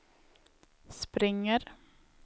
springer